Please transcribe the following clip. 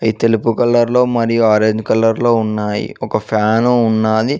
తెలుపు కలర్ లో మరియు ఆరేంజ్ కలర్ లో ఉన్నాయి ఒక ఫ్యాను ఉన్నది.